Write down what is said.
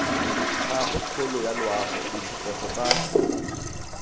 gagwe kgolo yaloago ditlhokego tsa